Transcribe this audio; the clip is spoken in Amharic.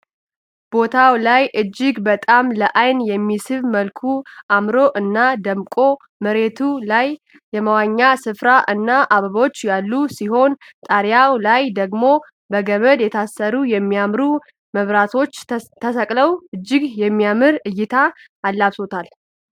ቦታው ላይ እጅግ በጣም ለአይን በሚስብ መልኩ አምሮ እና ደምቋል። መሬቱ ላይ የመዋኛ ስፍራ እና አበቦች ያሉ ሲሆን ጣሪያው ላይ ደግሞ በገመድ የታሰሩ የሚያማምሩ መብራቶች ተሰቅለው እጅግ የሚያምር እይታን አላብሰዉታል።